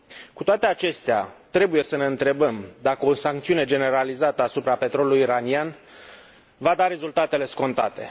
Cu toate acestea, trebuie să ne întrebăm dacă o sancțiune generalizată asupra petrolului iranian va da rezultatele scontate.